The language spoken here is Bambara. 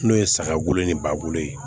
N'o ye saga bolo ni ba bolo ye